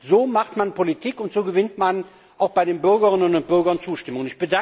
So macht man Politik, und so gewinnt man auch bei den Bürgerinnen und Bürgern Zustimmung.